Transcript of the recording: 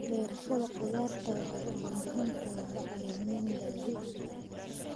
Beerashada khudaarta waxay u baahan tahay bacrimin dabiici ah.